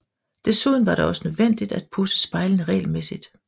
Desuden var det også nødvendigt at pudse spejlene regelmæssigt